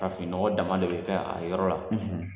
An fininɔgɔ dama de bɛ kɛ a yɔrɔ la.